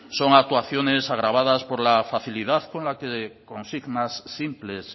son actuaciones agravadas por la facilidad con la que consignas simples